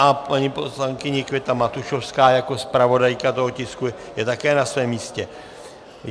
A paní poslankyně Květa Matušovská jako zpravodajka toho tisku je také na svém místě.